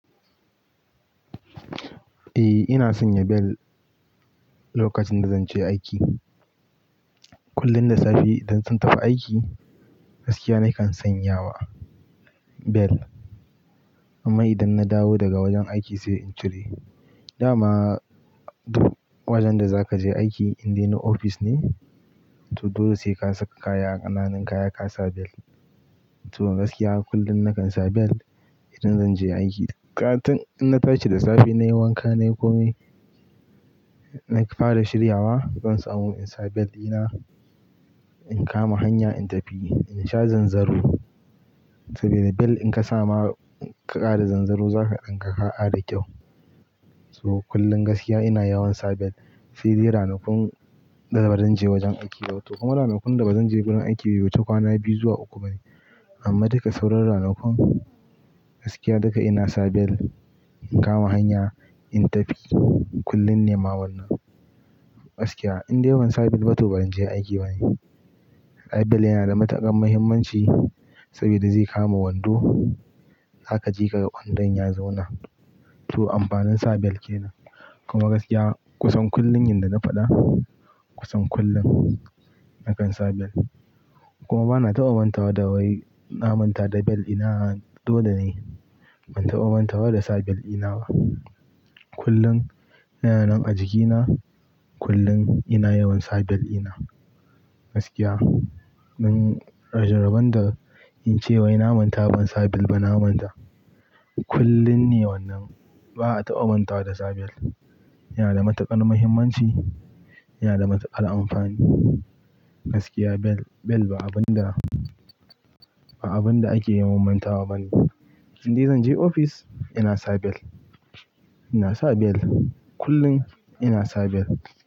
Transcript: Eh ina sanya bel lokacin da zan je aiki. Kullum da safe idan zan tafi aiki gaskiya nakan sanyawa bel. Amma idan na dawo daga wajen aiki sai in cire. Da ma duk wajen da za ka je aiki in dai na ofis ne, to dole sai ka saka kaya, ƙananun kaya ka sa bel. To gaskiya kullum nakan sa bel idan zan je aiki. Kaga tun, in na tashi da safe nayi wanka nayi komai, na fara shiryawa zan samu in sa bel ina in kama hanya in tafi in sha zanzaro. Saboda bel in ka sa ma ka ƙara zanzaro za ka ganka ka kara kyau. To kullum gaskiya ina yawan sa bel, sai dai ranakun da ba zan je wajen aiki da wato kuma ranakun da ba zan je gurin aiki yau bai wuce kwana biyu zuwa uku bane. Amma duka sauran ranakun gaskiya duka ina sa bel in kama hanya in tafi kullum ne ma wannan. Gaskiya in dai ban sa bel ba to ban je aiki bane. Ai bel yana da matuƙar muhimmanci saboda zai kama wando, za ka jika wandon ya zauna. To amfanin sa bel kenan. Kuma gaskiya kusan kullum yanda na faɗa kusan kullum nakan sa bel. Kuma ba na taɓa manta wa da wai na manta da bel ina a, dole ne ban taɓa manta wa da sa bel ina ba. Kullum yana nan a jikina kullum ina yawan sa bel ina. Gaskiya mun yaush rabon da in ce wai na manta ban sa bel ba na manta. Kullum ne wannan ba a taɓa manta da sa bel. Yana da matuƙar muhimmanci, yana da matuƙar amfani. Gaskiya bel, bel ba abun da, ba abun da ake yawan mantawa bane. In dai zan je ofis ina sa bel, ina sa bel kullum ina sa bel.